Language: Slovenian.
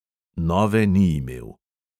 Nove ni imel.